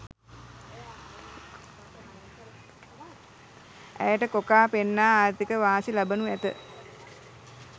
ඇයට කොකා පෙන්නා ආර්ථික වාසි ලබනු ඇත